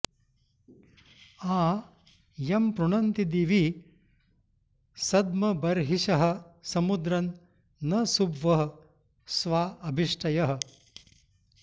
आ यं पृणन्ति दिवि सद्मबर्हिषः समुद्रं न सुभ्वः स्वा अभिष्टयः